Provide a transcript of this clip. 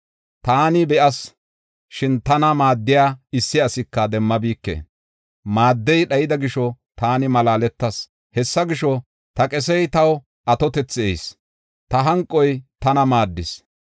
Taani be7as, shin tana maaddiya issi asika demmabike; maaddey dhayida gisho, taani malaaletas. Hessa gisho, ta qesey taw atotethi ehis; ta hanqoy tana maaddis.